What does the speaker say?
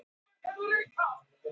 Bíbí, hvað er á dagatalinu í dag?